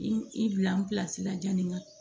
I i bila n'i sira jaa nin na